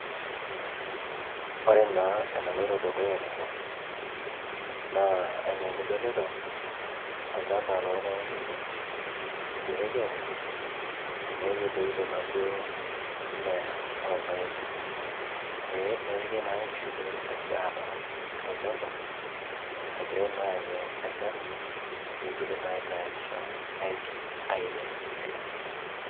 Ore naa enaloito dukuya tene naa enidolita naa olchamba lorpaek ele oidipaki aatekes neeku etoito naaduo mmea orpaek ee nepiki naa nkishu pee etumoki aatarr olchamba egirai naa aanyu enchan pee igili naa aitayarisha aigil airem irkulie.